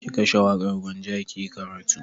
Ki kashe waƙar Gwanja ki yi karatu!